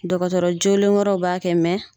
Dɔkɔtɔrɔ joonalen wɛrɛ b'a kɛ